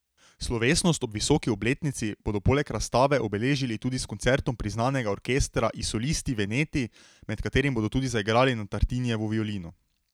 Slovesnost ob visoki obletnici bodo poleg razstave obeležili tudi s koncertom priznanega orkestra I Solisti Veneti, med katerim bodo tudi zaigrali na Tartinijevo violino.